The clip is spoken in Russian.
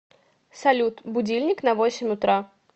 салют будильник на восемь утра